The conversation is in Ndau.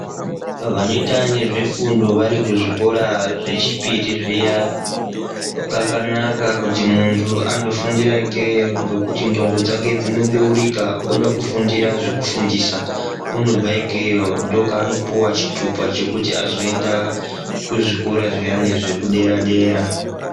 Vanoita nezvefundo vari kuzvikora zvechipiri zviya kakanaka kuti muntu andofundiraya ikeyo nekuti ndxondo dzake dzinobeurika oda kufundira zvekufundisa unobva ikeyo ndiko kwaanopuwa chitupa chekuti azoenda kuzvikora zviyane zvederadera